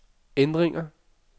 ændringer